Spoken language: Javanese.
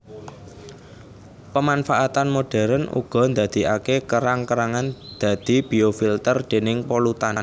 Pemanfaatan modern uga ndadikaké kerang kerangan dadi biofilter déning polutan